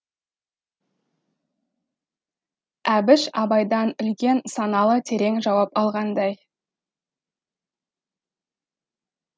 әбіш абайдан үлкен саналы терең жауап алғандай